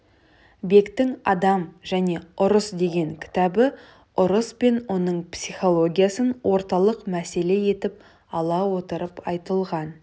бектің адам және ұрыс деген кітабы ұрыс пен оның психологиясын орталық мәселе етіп ала отырып айтылған